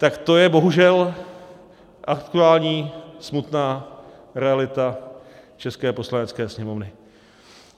Tak to je bohužel aktuální smutná realita české Poslanecké sněmovny.